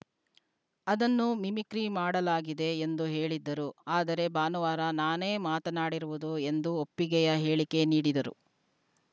ಅದನ್ನು ಮಿಮಿಕ್ರಿ ಮಾಡಲಾಗಿದೆ ಎಂದು ಹೇಳಿದ್ದರು ಆದರೆ ಭಾನುವಾರ ನಾನೇ ಮಾತನಾಡಿರುವುದು ಎಂದು ಒಪ್ಪಿಗೆಯ ಹೇಳಿಕೆ ನೀಡಿದರು